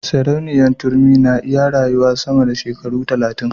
Sarauniya turmi na iya rayuwa sama da shekaru talatin